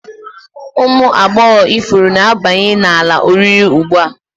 Ụmụ agbọghọ ifuru na-abanye n'ala oriri ugbu a